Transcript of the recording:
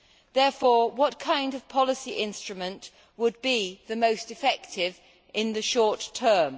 Therefore, what kind of policy instrument would be the most effective in the short term?